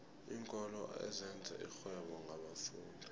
iinkolo ezenza irhwebo ngabafundi